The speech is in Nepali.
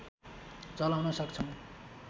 चलाउन सक्छौं